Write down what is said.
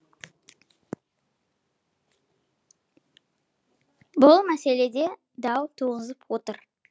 бұл мәселе де дау туғызып отыр